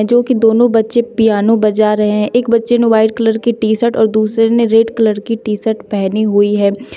जो कि दोनों बच्चे पियानो बजा रहे हैं एक बच्चे ने व्हाइट कलर की टी शर्ट और दूसरे ने रेड कलर की टी शर्ट पहनी हुई है।